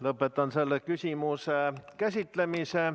Lõpetan selle küsimuse käsitlemise.